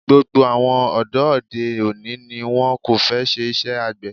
Gbogbo àwọn ọ̀dọ́ òde òní ni wón kò fẹ́ ṣe iṣẹ́ àgbè.